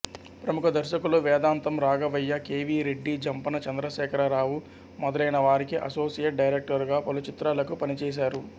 ప్రముఖ దర్శకులు Vedantam Raghavaiah K V Reddy Jampana Chandrasekhara Rao మొదలైన వారికి అసోసియేట్ డైరెక్టరుగా పలుచిత్రాలకు పనిచేశారు